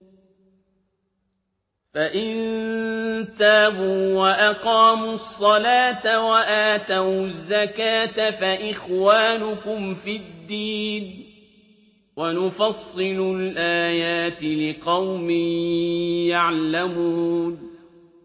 فَإِن تَابُوا وَأَقَامُوا الصَّلَاةَ وَآتَوُا الزَّكَاةَ فَإِخْوَانُكُمْ فِي الدِّينِ ۗ وَنُفَصِّلُ الْآيَاتِ لِقَوْمٍ يَعْلَمُونَ